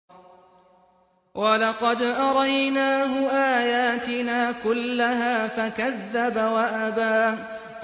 وَلَقَدْ أَرَيْنَاهُ آيَاتِنَا كُلَّهَا فَكَذَّبَ وَأَبَىٰ